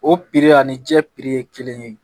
O ani jɛ ye kelen ye